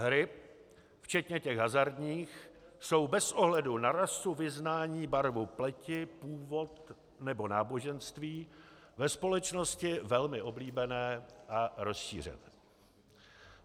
Hry, včetně těch hazardních, jsou bez ohledu na rasu, vyznání, barvu pleti, původ nebo náboženství, ve společnosti velmi oblíbené a rozšířené.